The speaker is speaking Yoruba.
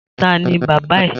Ta ni bàbá ẹ?